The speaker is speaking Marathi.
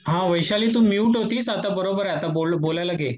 हां वैशाली तू म्यूट होतीस आता बरोबर आहे आता बोलायला घे.